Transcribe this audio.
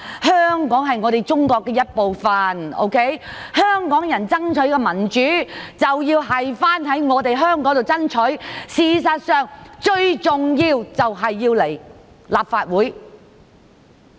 香港是中國的一部分，香港人爭取民主，便要在香港爭取，事實上，最重要是來立法會爭取。